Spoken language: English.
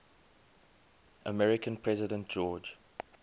american president george